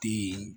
Den